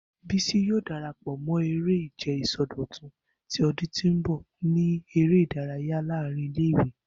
Bisi yoo darapọ mọ ere-ije isọdọtun ti ọdun ti n bọ ni ere-idaraya laarin ile-iwe.